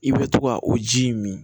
I bɛ to ka o ji in min